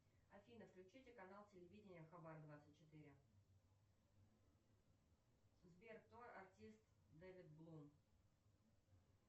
афина включите канал телевидения хабар двадцать четыре сбер кто артист дэвид блум